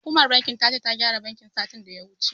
Hukumar bankin ta ce, ta gyara bankin, satin da ya wuce.